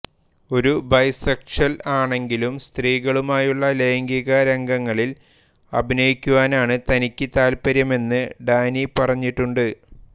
ഒരു ബൈസെക്ഷ്വൽ ആണെങ്കിലും സ്ത്രീകളുമായുള്ള ലൈംഗികരംഗങ്ങളിൽ അഭിനയിക്കുവാനാണ് തനിക്കു താൽപ്പര്യമെന്ന് ഡാനി പറഞ്ഞിട്ടുണ്ട്